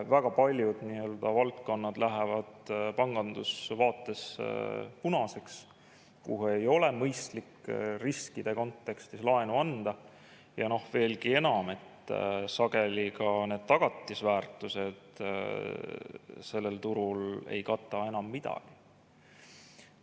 Väga paljud valdkonnad lähevad pangandusvaates punaseks, kuhu ei ole mõistlik riskide kontekstis laenu anda, ja veelgi enam, sageli ka need tagatisväärtused sellel turul ei kata enam midagi.